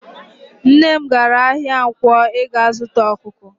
Nne m gara ahia Nkwo ịga zuta ọkụkọ.